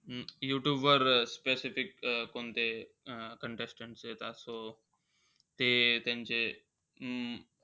अं यूट्यूबवर अं specific अं कोणते अं contestants येतात. so ते त्यांचे,